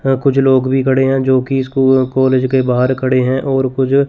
यहां कुछ लोग भी खड़े हैं जो कि स्कूल कॉलेज के बाहर खड़े हैं और कुछ--